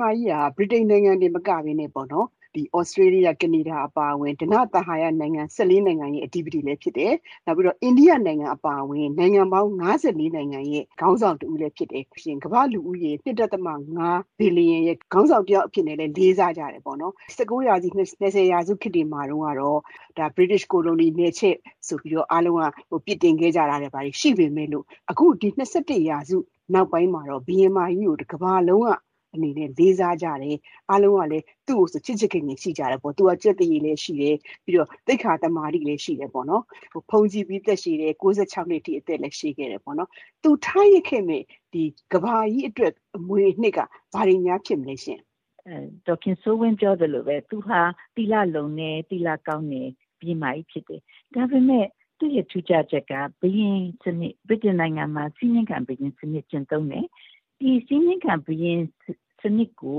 မကြီးဟာ ဗြိတိန်နိုင်ငံတင်မကဘဲနဲ့ သြစတြေးလျ၊ ကနေဒါအပါအဝင် ဓနသဟာယ နိုင်ငံရဲ့အဓိပတိလည်းဖြစ်တယ်၊ နောက်ပြီးတော့ အိန္ဒိယအပါအဝင် နိုင်ငံပေါင်း နိုင်ငံရဲ့ခေါင်းဆောင်တဦးလည်းဖြစ်တယ်။ ပြီးလို့ရှိရင် ကမ္ဘာ့လူဦးရေ ဘီလီယံရဲ့ ခေါင်းဆောင်အဖြစ်နဲ့လည်း လေးစားကြတယ်ပေါ့နော်၊ ၁၉ ရာစု၊ ၂၀ ရာစုခေတ်တွေမှာတုန်းကတော့ ဗြိတိသျှကိုလိုနီ နယ်ချဲ့ဆိုပြီး အားလုံးက အပြစ်တင်ခဲ့ကြတာတွေ ဘာတွေရှိပေမယ့်လို့ အခု ၂၁ ရာစုနောက်ပိုင်းမှာတော့ ဘုရင်မကြီးကို တကမ္ဘာလုံးကအနေနဲ့ လေးစားကြတယ်။ အားလုံးကလည်း သူ့ကိုဆို ချစ်ချစ်ခင်ခင်ရှိကြတယ်ပေါ့။ သူက ကျက်သရေလည်းရှိတယ်၊ သိက္ခာသမာဓိလည်း ရှိတယ်ပေါ့နော်။ ဗမာလိုပြောရလို့ရှိရင်တော့ သီလကောင်းတယ်လို့ ပြောရမှာပေါ့နော်၊ အသက်ကလည်း ဘုန်းကြီးပြီး အသက်ရှည်တယ်၊ ၉ ၆ နှစ်အထိ နေခဲ့တယ်ပေါ့နော်၊ သူထားရစ်ခဲ့တဲ့ ကမ္ဘာကြီးအတွက် အမွေအနှစ်က ဘာတွေများ ဖြစ်မလဲရှင့်။ ဒေါ်တင်ထားဆွေ။ ။ ဘုရင်မကြီး ဒုတိယမြောက် အဲလဇ္ဇဘက်ရဲ့ထူးခြားချက်ကတော့ ဘာလဲဆိုလို့ရှိရင် အခုနက ဒေါ်ခင်စိုးဝင်းပြောသလိုပဲ သူဟာ သီလလုံတယ်၊ သီလကောင်းတဲ့ဘုရင်မကြီးဖြစ်တယ်။ ဒါပေမယ့် သူ့ရဲ့ထူးခြားချက်က ဗြိတိန်နိုင်ငံမှာ စည်းမျဉ်းခံဘုရင်စနစ်ကျင့်သုံးတယ်၊ စည်းမျဉ်းခံဘုရင်စနစ်ကို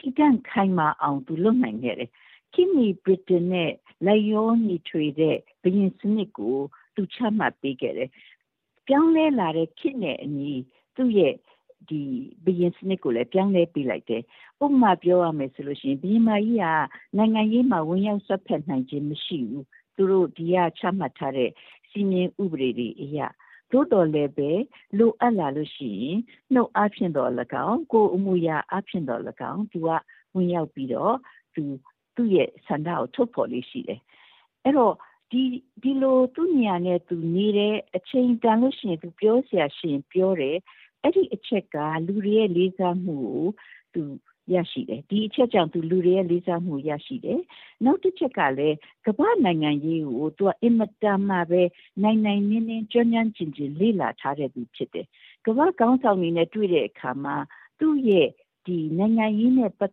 တည်တံ့ခိုင် မာအောင် သူလုပ်နိုင်ခဲ့တယ်။ ခေတ်မီဗြိတိန်နဲ့လိုက်လျောညီထွေတဲ့ဘုရင်စနစ်ကို သူ ချမှတ်ပေးခဲ့တယ်။ ဘယ်လိုနည်းနဲ့ သူလုပ်ခဲ့သလဲဆိုလို့ရှိရင် ပြောင်းလဲလာတဲ့ခေတ်နဲ့အညီ သူ့ရဲ့ဘုရင်စနစ်ကိုလည်း ပြောင်းလဲပေးလိုက်တယ်။......ဥပမာပြောရမယ်ဆိုလို့ရှိရင် ဘုရင်မကြီးက နိုင်ငံရေးမှာဝင်ရောက်စွက်ဖက်နိုင်ခြင်း မရှိဘူး။ သူတို့ ဒီကချမှတ်ထားတဲ့ စည်းမျဉ်းဥပဒေတွေအရ၊ သို့သော်လည်းပဲ လိုအပ်လာလို့ရှိရင် နှုတ်အားဖြင့်သော်လည်းကောင်း၊ ကိုယ်အမူအယာအားဖြင့်သော်လည်းကောင်း သူက ဝင်ရောက်ပြီးတော့ သူ့ရဲ့ဆန္ဒကို ထုတ်ဖော်လေ့ရှိတယ်။ အဲဒီတော့ ဒီလို သူ့နေရာနဲ့သူနေတယ်၊ အချိန်တန်လို့ရှိရင် ပြောစရာရှိရင်ပြောတယ်။ အဲဒီအချက်ကြောင့် လူတွေရဲ့လေးစားမှုကို သူရတယ်။....နောက်တချက်ကလည်း ကမ္ဘာ့နိုင်ငံရေးကို သူက အင်မတန်မှပဲ နိုင်နိုင်နင်းနင်း ကျွမ်းကျွမ်းကျင်ကျင် လေ့လာထားခဲ့သူဖြစ်တယ်။ ကမ္ဘာ့ခေါင်းဆောင်တွေနဲ့တွေ့တဲ့အခါမှာ သူ့ရဲ့ ကမ္ဘာ့နိုင်ငံရေးနဲ့ပတ်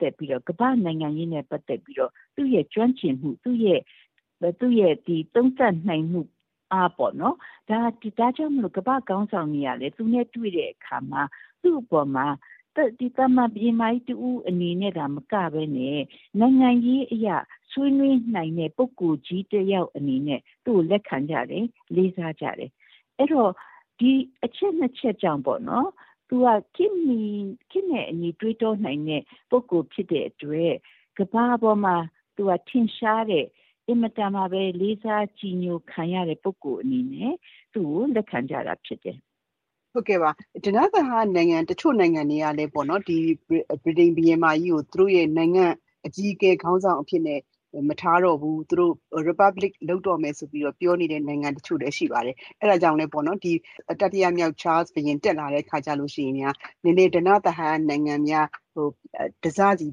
သက်ပြီးတော့ သူ့ရဲ့ကျွမ်းကျင်မှု၊ သူ့ရဲ့သုံးသပ်နိုင်မှုအားပေါ့နော်- ဒါကြောင့်မို့လို့ ကမ္ဘာ့ခေါင်းဆောင်တွေကလည်း သူနဲ့တွေ့တဲ့အခါမှာ သူ့အပေါ်မှာ သာမန်ဘုရင်မကြီးတဦးအနေနဲ့သာမကဘဲနဲ့ နိုင်ငံရေးအရ ဆွေးနွေးနိုင်တဲ့ပုဂ္ဂိုလ်ကြီးတယောက်အနေနဲ့ သူ့ကို လက်ခံကြတယ်၊ လေးစားကြတယ်။ အဲဒီတော့ ဒီအချက်နှစ်ချက်ကြောင့်ပေါ့နော် - သူဟာ ခေတ်နဲ့အညီတွေးတောနိုင်တဲ့ပုဂ္ဂိုလ်ဖြစ်တဲ့အတွက် ကမ္ဘာပေါ်မှာ ထင်ရှားတဲ့၊ အင်မတန်မှပဲ လေးစားကြည်ညိုခံရတဲ့ပုဂ္ဂိုလ်အနေနဲ့ သူ့ကိုလက်ခံကြတာဖြစ်တယ်။ ဒေါ်ခင်စိုးဝင်း။ ။ ဟုတ်ကဲ့ပါ။ တချို့ ဓနသဟာယနိုင်ငံတွေကလည်းပဲ ဗြိတိန်ဘုရင်မကြီးကို သူတို့ရဲ့နိုင်ငံ့အကြီးအကဲ ခေါင်းဆောင်အဖြစ်နဲ့ မထားတော့ဘူး၊ သူတို့ Republic လုပ်တော့မယ်ဆိုပြီးတော့ ပြောနေတဲ့နိုင်ငံတချို့လည်း ရှိပါတယ်။ အဲဒါကြောင့်လည်း တတိယမြောက် ချားလ်စ်ဘုရင်တက်လာတဲ့အခါကျလို့ရှိရင်များ ဓနသဟာယနိုင်ငံတွေများ တစစီ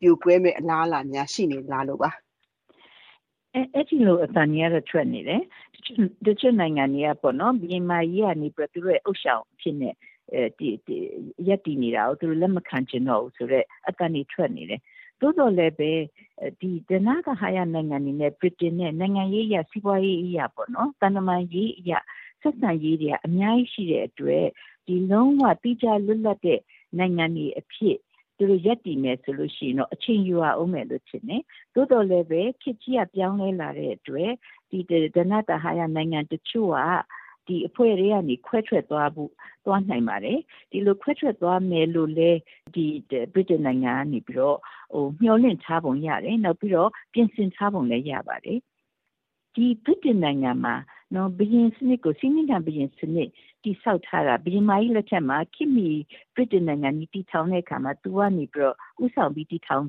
ပြိုကွဲမယ့်အလားအလာများ ရှိနေသလားလို့ပါ။ ဒေါ်တင်ထားဆွေ။ ။ အဲဒီလို အသံတွေကတော့ ထွက်နေတယ်၊ တချို့နိုင်ငံတွေကပေါ့နော်- ဘုရင်မကြီးကနေပြီးတော့ သူတို့ရဲ့ဥသျှောင်အဖြစ်နဲ့ ရပ်တည်နေတာကို သူတို့ လက်မခံချင်တော့ဘူးဆိုတဲ့အသံတွေ ထွက်နေတယ်။ သို့သော်လည်းပဲ ဓနသဟာယနိုင်ငံတွေနဲ့ ဗြိတိန်နိုင်ငံရဲ့ နိုင်ငံရေးအရ၊ စီးပွါးရေးအရ၊ သံတမန်ရေးအရ ဆက်ဆံရေးတွေက အများကြီးရှိတဲ့အတွက် လုံးဝသီးခြားလွတ်လပ်တဲ့ နိုင်ငံတွေအဖြစ် သူတို့ရပ်တည်မယ်ဆိုရင်တော့ အချိန်ယူရအုံးမယ်ထင်တယ်။ သို့သော် လည်းပဲ ခေတ်ကြီးက ပြောင်းလဲလာတဲ့အတွက် ဓနသဟာယနိုင်ငံတချို့က အဖွဲ့ ထဲကနေ ခွဲထွက်သွားနိုင်ပါယ်။ ဒီလို ခွဲထွက်သွားမယ်လို့လည်း ဗြိတိန်နိုင်ငံကနေပြီးတော့ မျှော်လင့်ထားပုံရတယ်။ နောက်ပြီးတော့ ပြင်ဆင်ထားပုံလည်း ရပါတယ်။ ဒီဗြိတိန်နိုင်ငံမှာ စည်းမျဉ်းခံဘုရင်စနစ်တည်ဆောက်ထားတာ ဘုရင်မကြီးလက်ထက်မှာ ခေတ်မီဗြိတိန်နိုင်ငံကြီး တည်ထောင်တဲ့အခါမှာ သူကနေပြီးတော့ ဦးဆောင်ပြီး တည်ထောင်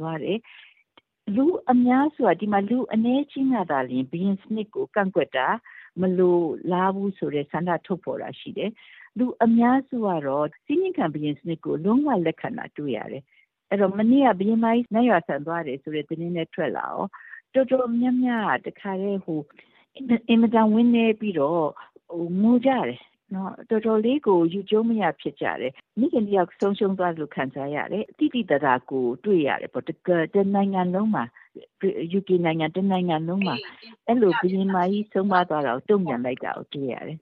သွားတယ်။ ဒီမှာ လူအနည်းအကျဉ်းကသာလျှင် ဘုရင်စနစ်ကို ကန့်ကွက်တာ၊ မလိုလားဘူးဆိုတဲ့ဆန္ဒထုတ်ဖော်တာရှိတယ်။ လူအများစုကတော့ စည်းမျဉ်းခံဘုရင်စနစ်ကို လုံးဝ လက်ခံတာတွေ့ရတယ်။ အဲဒီတော့ မနေ့က ဘုရင်မကြီး နတ်ရွာစံသွားတယ်ဆိုတဲ့သတင်းလည်းထွက်လာရော တော်တော်များများက တခါတည်း အင်မတန်ဝမ်းနည်းပြီးတော့ ငိုကြတယ်။ တော်တော်လေးကို ယူကျုံးမရဖြစ်ကြတယ်။ မိခင်တယောက် ဆုံးရှုံးသွားသလို ခံစားရတယ်။ သိသိသာသာကို တွေ့ရတယ်ပေါ့။ ယူကေနိုင်ငံ တနိုင်ငံလုံးမှာ ဘုရင်မကြီး ဆုံးပါးသွားတာကို အဲလို တုံ့ပြန်လိုက်တာ တွေ့ရတယ်